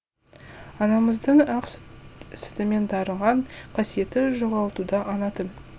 анамыздың ақ сүтімен дарыған қасиетін жоғалтуда ана тіл